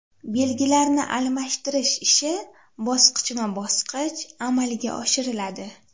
Belgilarni almashtirish ishi bosqichma bosqich amalga oshiriladi.